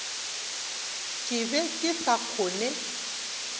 ke be ke sa kgone